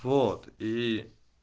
вот и